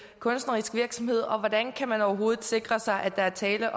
kunstnerisk virksomhed og hvordan kan man overhovedet sikre sig at der er tale